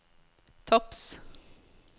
topps